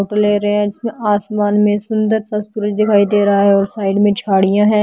ले रहे हैं आसमान में सुंदर सा सूरज दिखाई दे रहा है और साइड में झाड़ियां हैं।